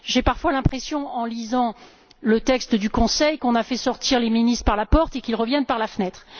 J'ai parfois l'impression en lisant le texte du Conseil qu'on a fait sortir les ministres par la porte et qu'ils reviennent par la fenêtre.